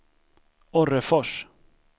Orrefors